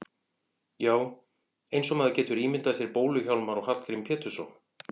Já, eins og maður getur ímyndað sér Bólu-Hjálmar og Hallgrím Pétursson.